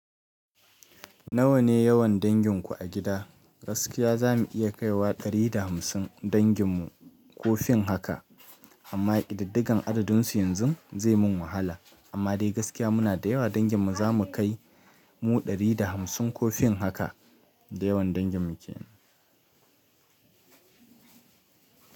Nawa ne yawan danginku a gida? Gaskiya za mu iya kaiwa 150 dangin mu ko fin haka amma ƙididdigan adadunsu yanzu zai min wahala. Amma dai gaskiya muna da yawa dangin mu za mu kai mu 150 ko fin haka. Da yawan dangin mu ke nan.